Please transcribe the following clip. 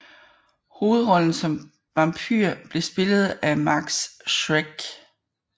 Hovedrollen som vampyr blev spillet af Max Schreck